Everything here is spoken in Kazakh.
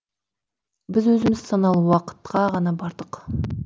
біз өзіміз санаулы уақытқа ғана бардық